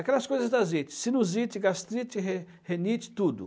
Aquelas coisas da site, sinusite, gastrite, re renite, tudo.